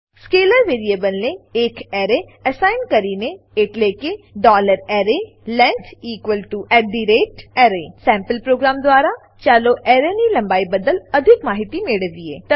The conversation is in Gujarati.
સ્કેલર વેરીએબલને એક એરે એસાઈન કરીને એટલે કે arrayLength array સેમ્પલ પ્રોગ્રામ દ્વારા ચાલો એરેની લંબાઈ બદ્દલ અધિક માહિતી મેળવીએ